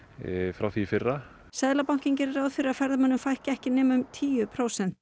frá því í fyrra seðlabankinn gerir ráð fyrir að ferðamönnum fækki ekki nema um tíu prósent